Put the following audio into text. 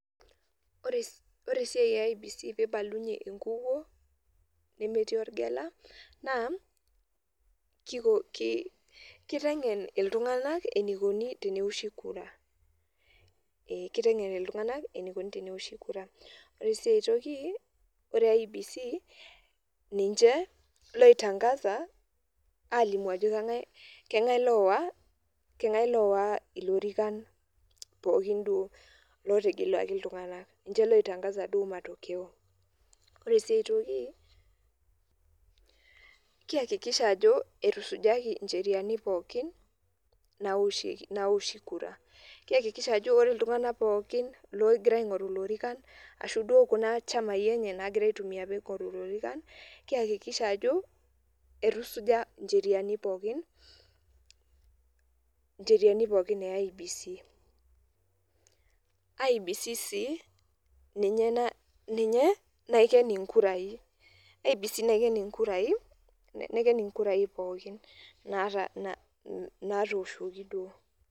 Ore esiai e IEBC pibalunye enkukuo nemetii orgela, naa, kiko kiteng'en iltung'anak enikoni tenewoshi kura. Kiteng'en iltung'anak enikoni tenewoshi kura. Ore si ai toki, ore IEBC, ninche loi tangaza, alimu ajo Kang'ae lowa, kenga'ae lowa ilorikan pookin duo lotegeluaki iltung'anak. Ninche loi tangaza duo matokeo. Ore si ai toki, keakikisha ajo, etusujaki incheriani pookin, naoshi kura. Keakikisha ajo ore iltung'anak pookin logira aing'oru ilorikan, ashu duo kuna chamai enye nagira aitumia ping'oru ilorikan, keakikisha ajo, etusuja incheriani pookin, incheriani pookin e IEBC. IEBC si ninye na, ninye naiken inkurai. IEBC naiken inkurai, naiken inkurai pookin, natooshoki duo.